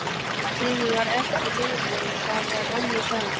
Tíminn var ekki lífið, og það var önnur saga.